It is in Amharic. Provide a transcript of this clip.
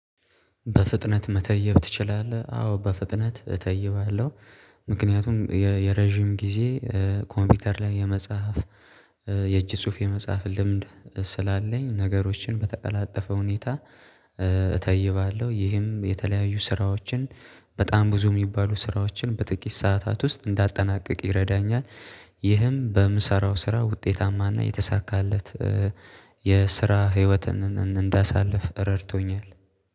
በፍጥነት መተየብ ትችላለህ አዎ በፍጥነት እተይባለሁ። ምክንያቱም የረጅም ጊዜ ኮምፒውተር ላይ የመጽሐፍ የእጅ ጽሁፍ የመጽሐፍ ልምድ ስላለኝ ነገሮችን በተቀላጠፈ ሁኔታ እተይባለሁ። ይህም የተለያዩ ስራዎችን በጣም ብዙ የሚባሉ ስራዎችን በጥቂት ሰዓታት ውስጥ እንዳጠናቅቅ ይረዳኛል። ይህም በምሰራው ስራ ውጤታማና የተሳካለት የስራ ህይወትን እንዳሳልፍ ረድቶኛል።